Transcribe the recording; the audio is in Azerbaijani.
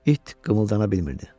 İt qımıldana bilmirdi.